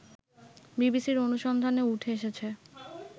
বিবিসির অনুসন্ধানে উঠে এসেছে